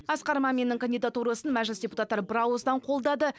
асқар маминнің кандидатурасын мәжіліс депутаттары бірауыздан қолдады